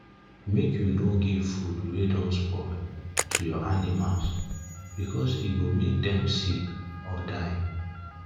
make u no give food wa don spoil to ur animals because e go make them sick or die